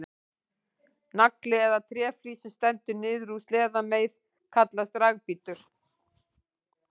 Nagli eða tréflís sem stendur niður úr sleðameið kallast dragbítur.